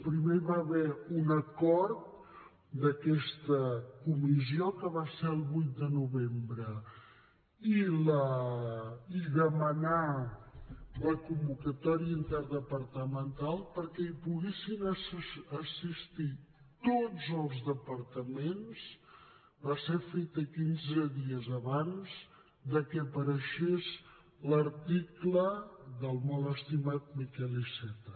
primer hi va haver un acord d’aquesta comissió que va ser el vuit de novembre i demanar la convocatòria interdepartamental perquè hi poguessin assistir tots els departaments va ser feta quinze dies abans de que aparegués l’article del molt estimat miquel iceta